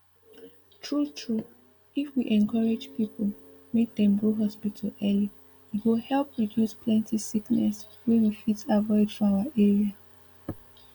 true true if we encourage people make dem go hospital early e go help reduce plenty sickness wey we fit avoid for our area